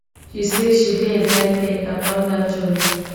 she say she dey excited about dat journey